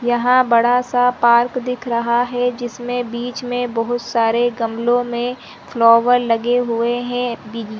यहाँ बड़ा सा पार्क दिख रहा है जिसमे बिच में बहुत सरे गमलो में फ्लावर लगे हुए है--